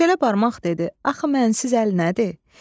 Çeçələ barmaq dedi: "Axı mən siz əl nədir?"